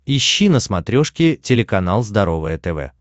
ищи на смотрешке телеканал здоровое тв